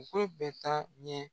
bɛ taa ɲɛ.